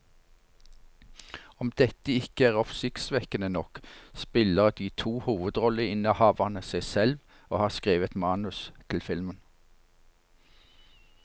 Om dette ikke er oppsiktsvekkende nok, spiller de to hovedrolleinnehaverne seg selv og har skrevet manus til filmen.